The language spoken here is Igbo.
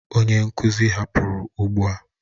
Onye nkuzi hapụrụ ugbu a.